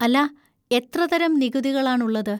അല്ലാ, എത്രതരം നികുതികളാണുള്ളത്?